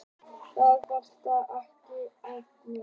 Þar vantaði ekki nákvæmnina.